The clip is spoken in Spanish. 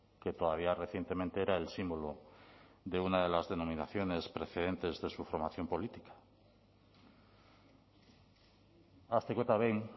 que todavía recientemente era el símbolo de una de las denominaciones precedentes de su formación política hasteko eta behin